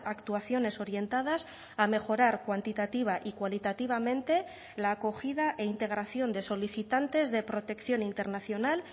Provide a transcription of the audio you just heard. actuaciones orientadas a mejorar cuantitativa y cualitativamente la acogida e integración de solicitantes de protección internacional